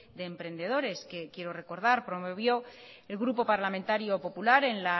de emprendedores que quiero recordar promovió el grupo parlamentario popular en